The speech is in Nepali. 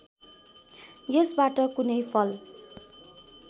यसबाट कुनै फल